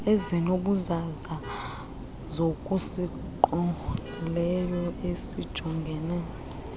ezinobuzaza zokusingqongileyo esijongene